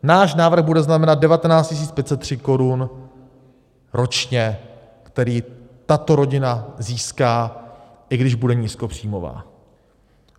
Náš návrh bude znamenat 19 503 korun ročně, které tato rodina získá, i když bude nízkopříjmová.